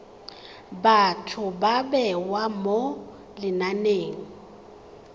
batho ba bewa mo lenaneng